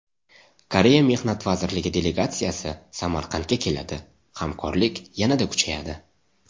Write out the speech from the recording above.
Koreya Mehnat vazirligi delegatsiyasi Samarqandga keladi: hamkorlik yanada kuchayadi.